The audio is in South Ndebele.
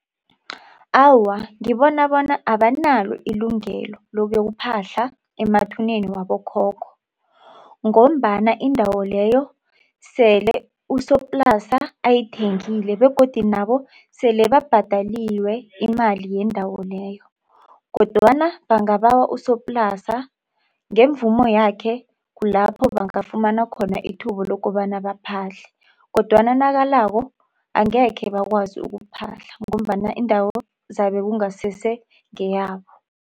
Awa, ngibona bona abanalo ilungelo lokuyokuphahla emathuneni wabokhokho. Ngombana indawo leyo sele usoplasa ayithengile begodu nabo sele babhadeliwe imali yendawo leyo. Kodwana bangabawa usoplasa ngemvumo yakhe kulapho bangafumana khona ithuba lokobana baphahle. Kodwana nakalako angekhe bakwazi ukuphahla ngombana indawo izabe ingasesengeyabo.